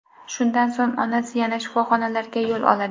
Shundan so‘ng onasi yana shifoxonalarga yo‘l oladi.